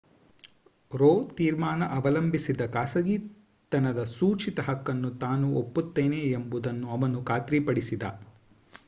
rho ತೀರ್ಮಾನ ಅವಲಂಬಿಸಿದ ಖಾಸಗಿತನದ ಸೂಚಿತ ಹಕ್ಕನ್ನು ತಾನೂ ಒಪ್ಪುತ್ತೇನೆ ಎಂಬುದನ್ನು ಅವನು ಖಾತ್ರಿಪಡಿಸಿದ